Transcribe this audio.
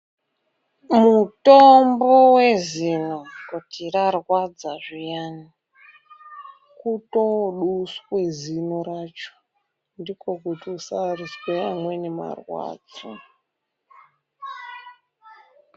Mutombo wezino kuti rarwadza zviyani, kutooduswe zino racho, ndiko kuti usazwe amweni marwadzo.